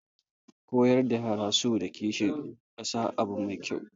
Koyar da yara so da kishin kasa abu mai kyau